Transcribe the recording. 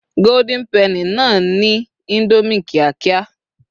golden penny na ni Indomie kiakia